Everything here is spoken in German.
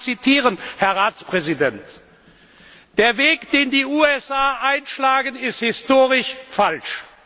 Ich will Sie zitieren, Herr Ratspräsident Der Weg, den die USA einschlagen, ist historisch falsch.